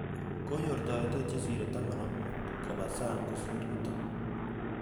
Kanyor toreretet chesire taman ak mut kopa sang kosir yutok